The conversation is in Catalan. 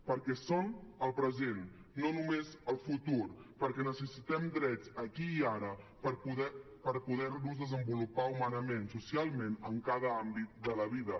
perquè són el present no només el futur perquè necessitem drets aquí i ara per poder nos desenvolupar humanament i socialment en cada àmbit de la vida